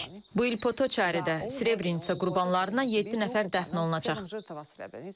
Bu il Potoçaridə Srebrenitsa qurbanlarına yeddi nəfər dəfn olunacaq.